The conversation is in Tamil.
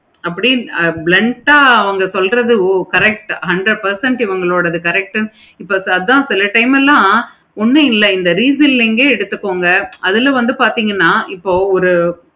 அப்படி blend ஆஹ் அவுங்க சொல்றது correct hundred percentage ivungalodathu correct சொல்றதும் தான் time எல்லாம் ஒன்னும் இல்லை இந்த refilling ஏ எடுத்துக்கோங்க அதுல வந்து பார்த்தேங்கனா இப்போ ஒரு